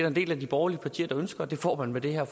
en del af de borgerlige partier der ønsker og det får man med det her